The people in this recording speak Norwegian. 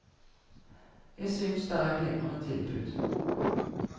Jeg synes er et glimrende tilbud.